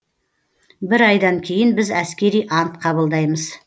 бір айдан кейін біз әскери ант қабылдаймыз